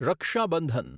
Raksha Bandhan